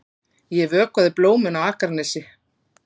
Ég vökvaði blómin á Akranesi.